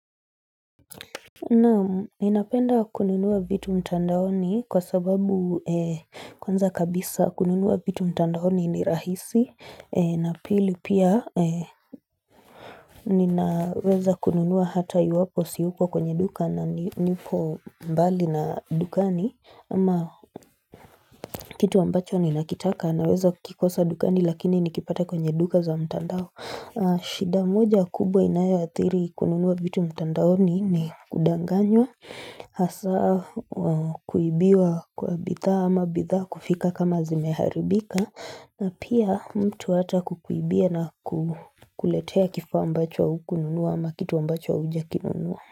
Na inapenda kununua vitu mtandaoni kwa sababu kwanza kabisa kununua vitu mtandaoni ni rahisi na pili pia ninaweza kununua hata iwapo siuko kwenye duka na nipo mbali na dukani ama kitu ambacho ni nakitaka na weza kikosa dukani lakini nikipata kwenye duka za mtandao. Shida moja kubwa inayathiri kununua vitu mtandaoni ni kudanganywa Hasa kuibiwa kwa bidhaa ama bidhaa kufika kama zimeharibika na pia mtu hata kukuibia na kuletea kifuwa mbacho wa ukununua ama kituwa mbacho wa ujakinunua.